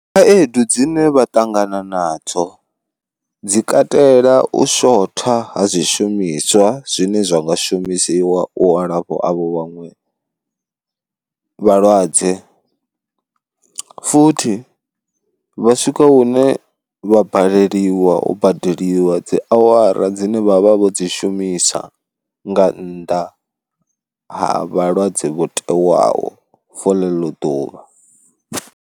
Khaedu dzine vha ṱangana nadzo dzi katela u shotha ha zwishumiswa zwine zwa nga shumisiwa u alafha avho vhaṅwe vhalwadze, futhi vha swika hune vha baleliwa u badeliwa dzi awara dzine vha vha vho dzi shumisa nga nnḓa ha vhalwadze vho tewaho for ḽeḽo ḓuvha.